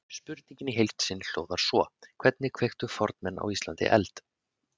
Spurningin í heild sinni hljóðar svo: Hvernig kveiktu fornmenn á Íslandi eld?